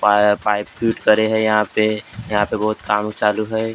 Pipe fit करे यहाँ पर यहाँ पर बहुत काम चालू है।